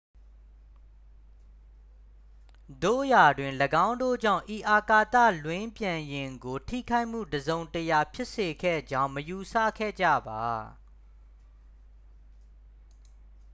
သို့ရာတွင် ၎င်းတို့ကြောင့် ဤအာကာသလွန်းပြန်ယာဉ်ကို ထိခိုက်မှုတစ်စုံတစ်ရာ ဖြစ်စေခဲ့ကြောင်း မယူဆခဲ့ကြပါ